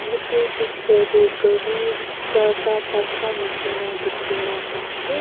jatte dekha tu gari charta pasta nisna dekhi na pai ase.